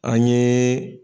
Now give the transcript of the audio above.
An ye